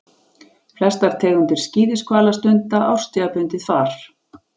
Flestar tegundir skíðishvala stunda árstíðabundið far.